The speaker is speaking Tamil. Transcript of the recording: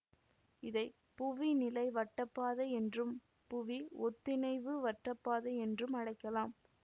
இதை புவி நிலை வட்டப்பாதை என்றும் புவி ஒத்திணைவு வட்டப்பாதை என்றும் அழைக்கலாம்